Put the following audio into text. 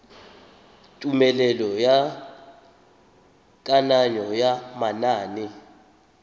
tumelelo ya kananyo ya manane